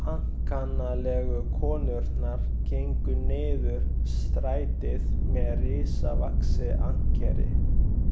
Ankannalegu konurnar gengu niður strætið með risavaxið ankeri.